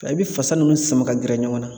Ka i bi fasa ninnu sama ka gɛrɛ ɲɔgɔn na